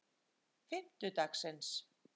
fimmtudagsins